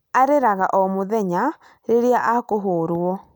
Arĩraga o mũthenya rĩrĩa akuhũrwo